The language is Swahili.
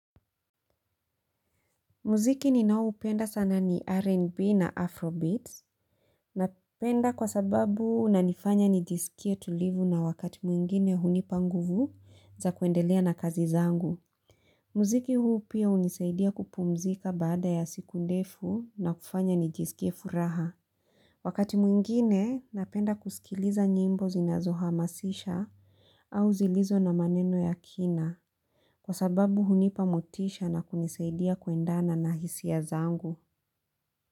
Muziki ni naoupenda sana ni R&B na Afrobeats. Napenda kwa sababu unanifanya nijisikie tulivu na wakati mwingine hunipa nguvu za kuendelea na kazi zangu. Muziki huu pia hunisaidia kupumzika baada ya siku ndefu na kufanya nijisikie furaha. Wakati mwingine napenda kusikiliza nyimbo zinazohamasisha au zilizo na maneno ya kina. Kwa sababu hunipa motisha na kunisaidia kuendana na hisia zangu.